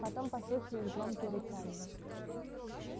потом послышались громкие рычания